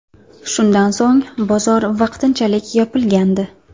Shundan so‘ng, bozor vaqtinchalik yopilgandi.